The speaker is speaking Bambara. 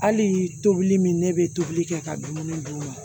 Hali tobili min ne bɛ tobili kɛ ka dumuni d'u ma